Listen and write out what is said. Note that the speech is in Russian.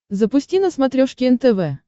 запусти на смотрешке нтв